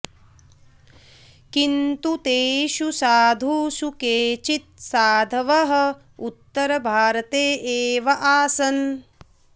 किन्तु तेषु साधुषु केचित् साधवः उत्तरभारते एव आसन्